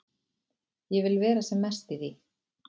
Ég vil vera sem mest í því.